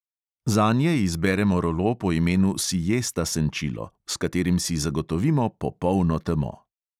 Zanje izberemo rolo po imenu siesta senčilo, s katerim si zagotovimo popolno temo.